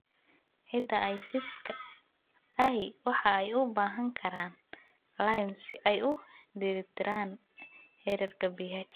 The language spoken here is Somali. Ciida aysidhka ahi waxa ay u baahan karaan lime si ay u dheelitiraan heerarka pH.